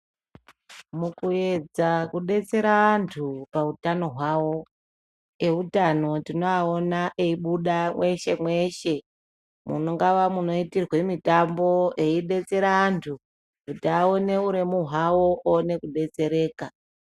Mukuedza kubetsera antu pautano hwavo. Eutano tinoaona eibuda mweshe-mweshe, mungava munoitirwe mitambo eibetsera antu. Kuti aone uremu hwavo aone kubetsereka.